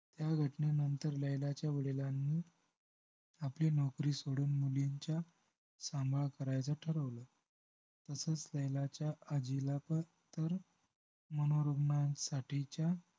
ह्या घटनेनंतर लैलाच्या वडिलांनी आपली नौकरी सोडून मुलींच्या सांभाळ करायचं ठरवलं तसेच लैलाच्या आजीला पर तर मनोरुग्णांसाठीच्या